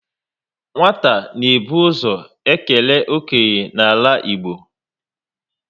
Nwata na ebu ụzọ ekele okenye n'ala Igbo